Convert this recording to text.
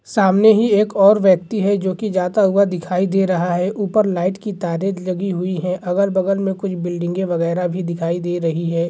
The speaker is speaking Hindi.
सामने ही एक और व्यक्ति है जो की जाता हुआ दिखाई दे रहा है ऊपर लाइट की तारे लगी हुई है अगल-बगल में कुछ बिल्डिंगे वगैरा भी दिखाई दे रही है।